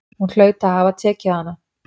Hún hlaut að hafa tekið hana.